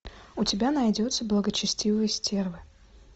у тебя найдется благочестивые стервы